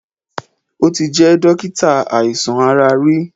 O ti jẹ́ dókítà àìsàn ara rí.